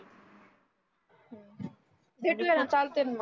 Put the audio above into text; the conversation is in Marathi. भेटुयाना चालतय ना मग.